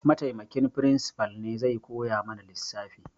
Mataimakin firimsifal ne zai koya mana lissafi